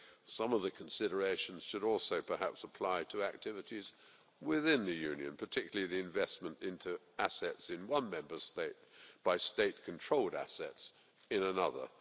some of the considerations should also perhaps apply to activities within the Union, particularly investment in assets in one Member State by state controlled assets in another.